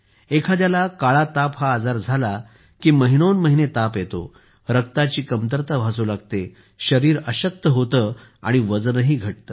एखाद्याला काळा ताप हा आजार झाला की महिनोन महिने ताप येतो रक्ताची कमतरता भासू लागते शरीर अशक्त होते आणि वजनही घटते